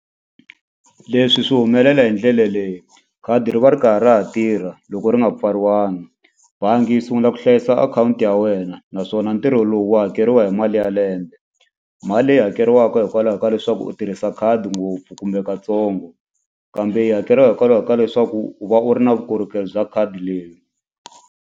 Leswi swi humelela hi ndlela leyi khadi ri va ri karhi a ha tirha loko ri nga pfariwanga bangi yi sungula ku hlayisa akhawunti ya wena naswona ntirho lowu wu hakeriwa hi malembe. Mali leyi hakeriwaka hikwalaho ka leswaku u tirhisa khadi ngopfu kumbe katsongo kambe yi hakeriwa hikwalaho ka leswaku u va u ri na vukorhokeri bya khadi leri.